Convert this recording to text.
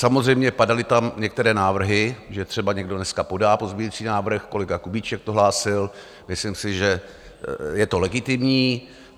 Samozřejmě padaly tam některé návrhy, že třeba někdo dneska podá pozměňující návrh, kolega Kubíček to hlásil, myslím si, že je to legitimní.